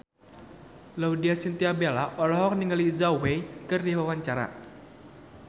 Laudya Chintya Bella olohok ningali Zhao Wei keur diwawancara